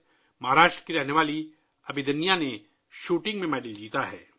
مہاراشٹر کی رہنے والی ابھیدنیہ نے شوٹنگ میں تمغہ جیتا ہے